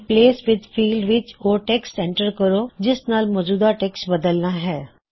replace with field ਵਿੱਚ ਓਹ text enter ਕਰੋ ਜਿਸ ਨਾਲ ਮੌਜੂਦਾ ਟੈਕਸ੍ਟ ਬਦਲਣਾ ਹੈ